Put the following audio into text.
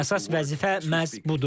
Əsas vəzifə məhz budur.